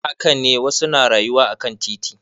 Haka ne wasu na rayuwa akan titi.